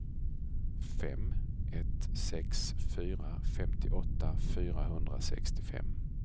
fem ett sex fyra femtioåtta fyrahundrasextiofem